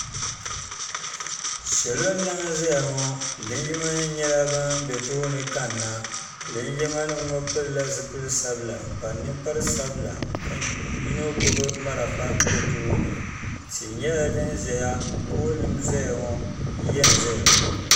salo n laɣim zaya ŋɔ jinjam nim nyɛla ban bɛ tuuni kana linjima nim ŋɔ pɛlila zipɛli sabila n kpa nɛkpara sabila ka yino gbani mariƒɔ bɛ tuuni tihi nyɛla din ʒɛya yiya n zaya ŋɔ